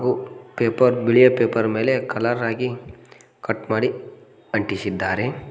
ಹಾಗೂ ಪೇಪರ್ ಬಿಳಿಯ ಪೇಪರ್ ಮೇಲೆ ಕಲರ್ ಆಗಿ ಕಟ್ ಮಾಡಿ ಅಂಟಿಸಿದ್ದಾರೆ.